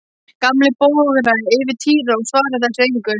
Gamli bograði yfir Týra og svaraði þessu engu.